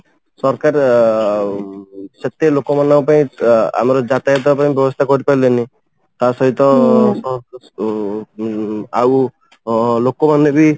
ସରକାର ସେତେ ଲୋକ ମାନଙ୍କ ପାଇଁ ଆମର ଯାତାୟାତ ପାଇଁ ବ୍ୟବସ୍ଥା କରିପାରିଲେନି ତା ସହିତ ଉମ ଆଉ ଅ ଲୋକ ମାନେ ବି